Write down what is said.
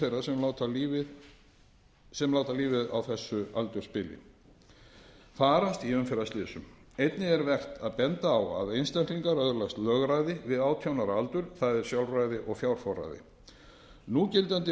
þeirra sem láta lífið á þessu aldursbili farast í umferðarslysum einnig er vert að benda á að einstaklingar öðlast lögræði við átján ára aldur það er sjálfræði og fjárforræði núgildandi